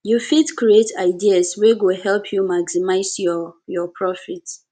you fit create new ideas wey go help you maximize your your profit